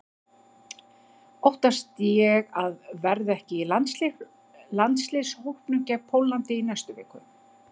Óttast ég að verða ekki í landsliðshópnum gegn Póllandi í næstu viku?